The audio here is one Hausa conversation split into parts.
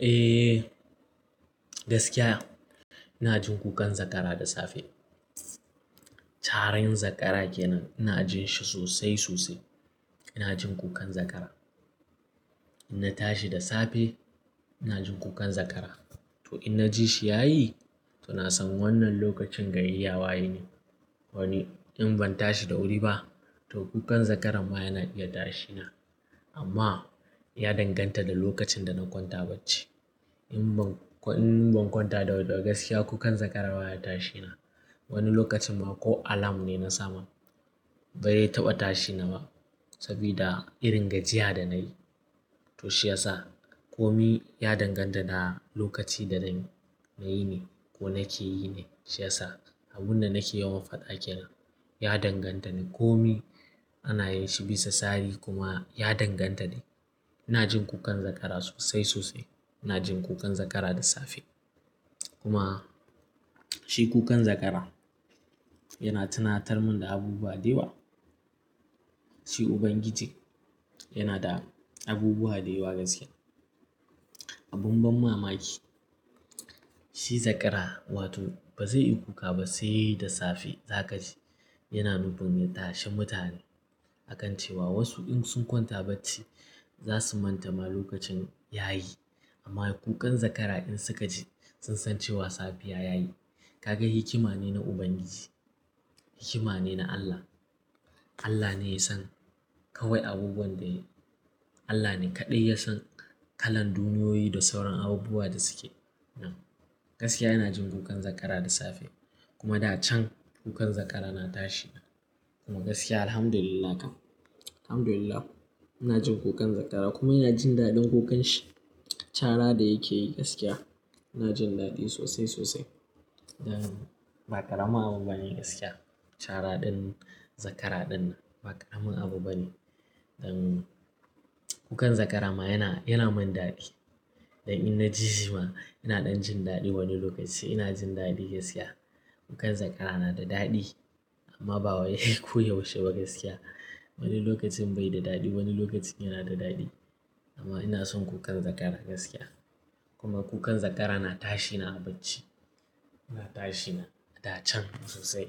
Eh, gaskiya ina jin kukan zakara da safe. Caran zakara kenan ina jin shi sosai sosai. Ina jin kukan zakara. In na tashi da safe ina jin kukan zakara. To in na ji shi yayi to na san wannan lokacin gari ya waye ne. Wani in ban tashi da wuri ba to kukan zakara ma yana iya tashi na. Amma ya danganta da lokacin da na kwanta bacci. In ban, in ban kwanta da wuri ba gaskiya kukan zakara ba ya tashi na. Wani lokacin ma ko alarm ne nasa ma. Ba zai taɓa tashi na ba saboda irin gajiya da na yi. To shi yasa ko mi ya danganta da lokaci da na, na yi ne ko na ke yi ne. Shi yasa abun da na ke yawan faɗa kenan ya danganta ne. Ko mi ana yin shi bisa tsari kuma ya danganta ne. Ina jin kukan zakara sosai sosai. Ina jin kukan zakara da safe. Kuma shi kukan zakara yana tunatar mun da abubuwa da yawa. Shi Ubangiji yana da abubuwa da yawa gaskiya. Abun ban mamaki shi zakara wato ba zai yi kuka ba sai da safe za ka ji yana nufin ya tashi mutane akan cewa wasu in sun kwanta bacci za su manta ma lokacin ya yi. Amma kukan zakara in suka ji sun san cewa safiya ya yi. Ka ga hikima ne na Ubangiji. Hikima ne na Allah. Allah ne ya san kawai abubuwan da ya Allah ne kaɗai ya san kalan duniyoyi da sauran abubuwa da suke. Nan gaskiya ina jin kukan zakara da safe kuma da can kukan zakara na tashi na. Kuma gaskiya alhamdulillah kam, alhamdulillah ina jin kukan zakara kuma ina jin daɗin kukan shi. Cara da yake yi gaskiya ina jin daɗi sosai sosai. Don ba ƙaramin abu bane gaskiya. Cara ɗin zakara ɗin ba ƙaramin abu bane. Don kukan zakara ma yana, yana mun daɗi. Don in na ji shi ma ina ɗan jin daɗi wani lokaci ina jin daɗi gaskiya. Kukan zakara na da daɗi amma ba wai ko yaushe ba gaskiya. Wani lokacin bai da daɗi, wani lokacin yana da daɗi. Amma ina son kukan zakara gaskiya. Kuma kukan zakara na tashi na a bacci. Na tashi na da can sosai.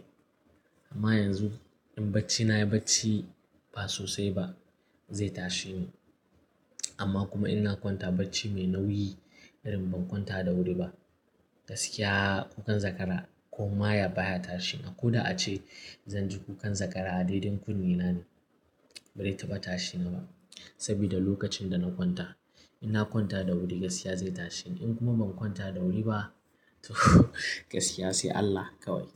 Amma yanzu in bacci na yi bacci ba sosai ba zai tashe ni. Amma kuma in na kwanta bacci mai nauyi irin ban kwanta da wuri ba, gaskiya kukan zakara koma ya baya tashi na. Ko da ace zan ji kukan zakara a dai-dai kunne na ne. Ba zai taɓa tashi na ba saboda lokacin da na kwanta. In na kwanta da wuri gaskiya zai tashe ni. In kuma ban kwanta da wuri ba to gaskiya sai Allah kawai.